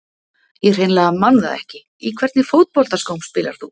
Ég hreinlega man það ekki Í hvernig fótboltaskóm spilar þú?